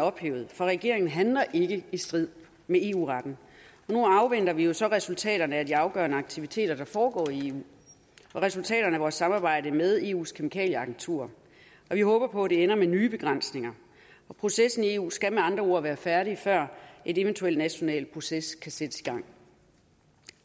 ophævet for regeringen handler ikke i strid med eu retten nu afventer vi jo så resultaterne af de afgørende aktiviteter der foregår i eu og resultaterne af vores samarbejde med eus kemikalieagentur og vi håber på at det ender med nye begrænsninger processen i eu skal med andre ord være færdig før en eventuel national proces kan sættes i gang